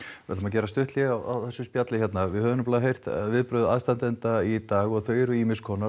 við ætlum að gera stutt hlé á þessu spjalli hérna við höfum heyrt viðbrögð aðstandenda í dag og þau eru